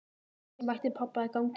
Ég mætti pabba í ganginum heima.